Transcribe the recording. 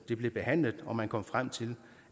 det blev behandlet og man kom frem til